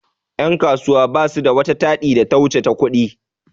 Yan' kasuwa basu da wata taɗi da ta wuce ta ƙudi.